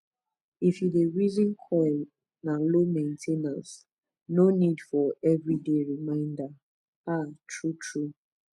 if you reason coil na low main ten ance no need for every day reminder ah true true